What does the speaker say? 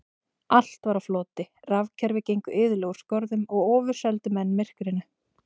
Allt var á floti, rafkerfi gengu iðulega úr skorðum og ofurseldu menn myrkrinu.